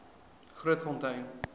grootfontein